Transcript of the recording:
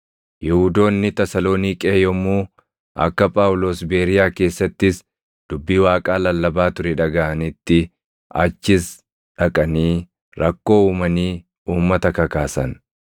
Yihuudoonni Tasaloniiqee yommuu akka Phaawulos Beeriyaa keessattis dubbii Waaqaa lallabaa ture dhagaʼanitti achis dhaqanii rakkoo uumanii uummata kakaasan.